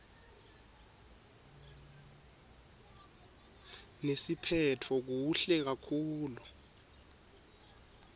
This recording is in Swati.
nesiphetfo kuhle kakhulu